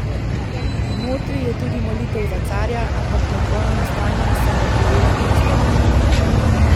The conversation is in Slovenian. Notri je tudi Molitev za carja, ampak med vojnim stanjem sem jo prijela in iztrgala.